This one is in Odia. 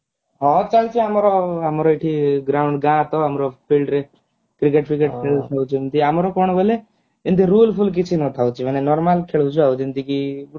ହଁ ଚାଲଛି ଆମର ଆମର ଏଠି ground ଗାଁ ତ ଆମର field ରେ cricket ଫ୍ରିକେଟ ଖେଳୁଛନ୍ତି ଆମର କଣ ବେଲେ ଏମତି rule ଫୁଲ୍ କିଛି ନଥାଉଛି ମାନେ normal ଖେଳିଛୁ ଆଉ ଯେମତି କି